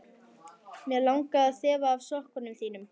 Mig langar að þefa af sokkum þínum.